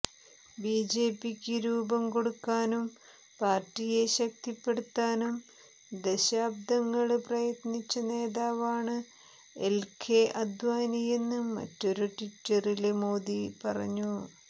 ബിജെപിക്ക് രൂപം കൊടുക്കാനും പാര്ട്ടിയെ ശക്തിപ്പെടുത്താനും ദശാബ്ദങ്ങള് പ്രയത്നിച്ച നേതാവാണ് എല്കെ അദ്വാനിയെന്ന് മറ്റൊരു ട്വീറ്റില് മോദി പറഞ്ഞു